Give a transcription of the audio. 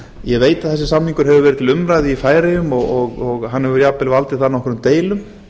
ég veit að þessi samningur hefur verið til umræðu í færeyjum og hann hefur jafnvel valdið þar nokkrum deilum